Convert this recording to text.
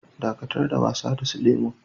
Dakatar da wasa da su lemu'n!